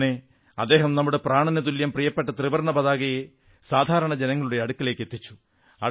ഇങ്ങനെ അദ്ദേഹം നമ്മുടെ പ്രാണനുതുല്യം പ്രിയപ്പെട്ട ത്രിവർണ്ണ പതാകയെ സാധാരണ ജനങ്ങളുടെ അടുത്തെത്തിച്ചു